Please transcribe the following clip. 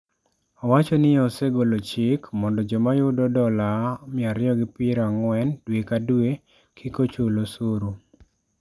Owacho ni osegolo chik mondo joma yudo dola 240 dwe ka dwe kik ochul osuru.